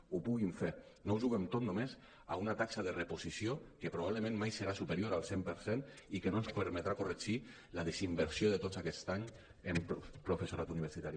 ho puguin fer no ho juguem tot només a una taxa de reposició que probablement mai serà superior al cent per cent i que no ens permetrà corregir la desinversió de tot aquest any en professorat universitari